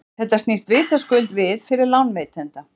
þetta snýst vitaskuld við fyrir lánveitanda